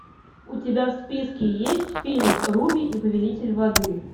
у тебя в списке есть фильм руби и повелитель воды